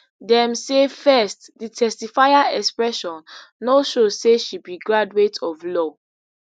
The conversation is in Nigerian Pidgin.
dem say first di testifier expression no show say she be graduate of law